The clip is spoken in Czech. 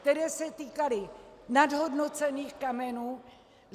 Které se týkaly nadhodnocených kamenů.